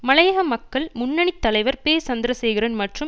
மலையக மக்கள் முன்னணி தலைவர் பெ சந்திரசேகரன் மற்றும்